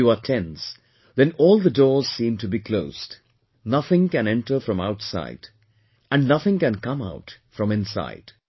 If you are tense, then all the doors seem to be closed, nothing can enter from outside and nothing can come out from inside